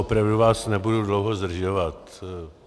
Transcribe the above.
Opravdu vás nebudu dlouho zdržovat.